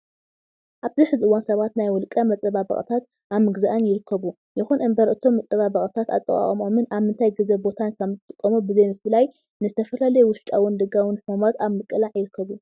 ኣብዚ ሕዚ እዋን ሰባት ናይ ውልቀ መፀባበቅታት ኣብ ምግዛእን ይርከቡ። ይኹን እምበር እቶም መፀባበቅታት ኣጠቃቅምኦምን ኣብ ምንታይ ግዘን ቦታን ከም ዝጥቀሙ ብዘይ ምፍላይ ንዝተፈላለዩ ውሽጣውን ደጋውን ሕማማት ኣብ ምቅላዕ ይርከቡ።